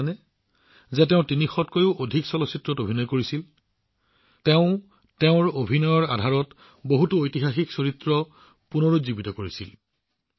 আপোনালোকে জানেনে যে তেওঁ ৩০০ তকৈও অধিক চলচ্চিত্ৰত অভিনয় কৰিছিল তেওঁ অভিনয়ৰ আধাৰত বহুতো ঐতিহাসিক চৰিত্ৰ পুনৰুজ্জীৱিত কৰিছিল